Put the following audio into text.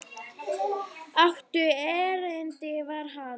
Áttu erindi við hann?